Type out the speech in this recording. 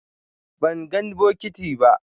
Ban gan bokiti ba.